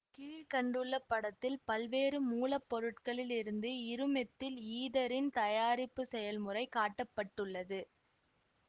கீழ் கண்டுள்ள படத்தில் பல்வேறு மூலப்பொருட்களில் இருந்து இருமெத்தில் ஈதரின் தயாரிப்புச் செயல்முறை காட்ட பட்டுள்ளது